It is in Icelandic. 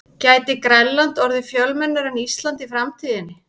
Gæti Grænland orðið fjölmennara en Ísland í framtíðinni?